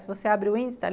Se você abre o índice,